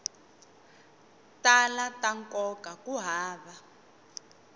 tala ta nkoka ku hava